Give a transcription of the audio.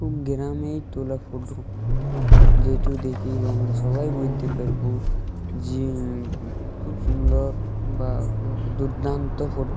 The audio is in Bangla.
খুব গ্রামে তোলা ফটো । যেটি দেখি আমরা সবাই বলতে পারব যে খুব সুন্দর বা দুর্দান্ত ফটো ।